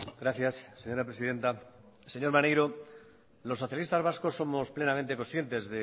gracias señora presidenta señor maneiro los socialistas vascos plenamente conscientes